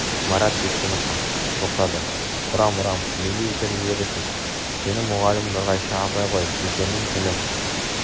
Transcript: марат сескеніп қалт тоқтады ұрам ұрам неге итеріп жібересіз сенің мұғалімің нұрғайша апай ғой үлкеннің тілін